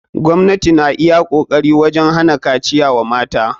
Gwamnati na iya kokari wajen hana kaciya wa mata.